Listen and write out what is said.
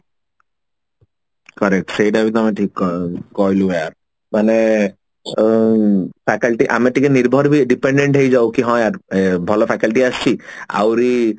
correct ସେଇଟା ବି ତମେ ଠିକ କ କହିଲୁ ୟାର ମାନେ ଉଁ faculty ଆମେ ଟିକେ ନିର୍ଭର ବି depended ହେଇ ଯାଉ କି ହଁ ୟାର ଭଲ faculty ଆସିଛି ଆଉରି